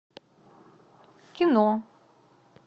кино